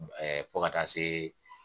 Ɛɛ fo ka taa se